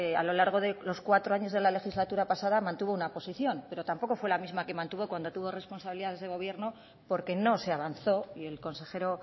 a lo largo de los cuatro años de la legislatura pasada mantuvo una posición pero tampoco fue la misma que mantuvo cuando tuvo responsabilidades de gobierno porque no se avanzó y el consejero